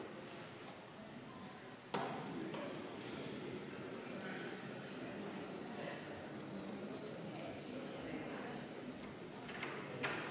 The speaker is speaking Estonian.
Austatud Riigikogu!